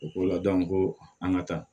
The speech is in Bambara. U ko la ko an ka taa